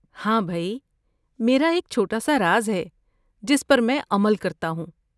ہاں بھئی، میرا ایک چھوٹا سا راز ہے جس پر میں عمل کرتا ہوں۔